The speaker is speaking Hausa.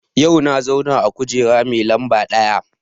Yau na zauna a kujera mai lamba ɗaya